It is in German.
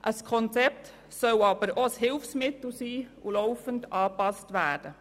Ein Konzept soll aber auch ein Hilfsmittel sein und laufend angepasst werden.